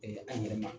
an yɛrɛ ma